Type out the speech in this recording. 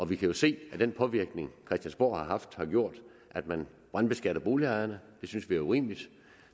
vi kan jo se at den påvirkning christiansborg har haft har gjort at man brandbeskatter boligejerne det synes vi er urimeligt